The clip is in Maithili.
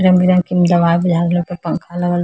रंग-बिरंग के इ में दवा बुझा रहले ऊपर पंखा लगल --